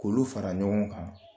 K'olu fara ɲɔgɔn kan